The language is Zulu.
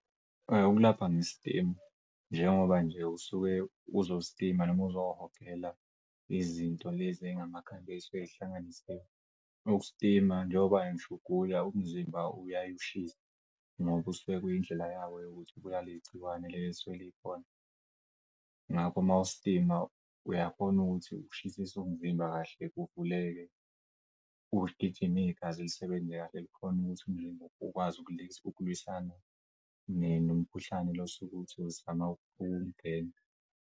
Ukulapha nge-steam njengoba nje usuke uzo-steam noma uzohogela izinto lezi ey'ngamakhambi ey'suke zihlanganisiwe ukustima njengoba ngish'ugula umzimba uyaye ushise ngoba kusuke kuyindlela yawo yokuthi ibulale leli gciwane leli esuke likhona. Ngakho mawustima uyakhona ukuthi ushisisa umzimba kahle uvuleke, kugijima igazi lisebenze kahle likhona ukuthi umzimba ukwazi ukulwisana nomkhuhlane lo sokuthi uzama ukungena.